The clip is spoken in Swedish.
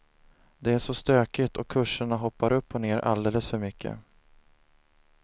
Det är så stökigt och kurserna hoppar upp och ner alldeles för mycket.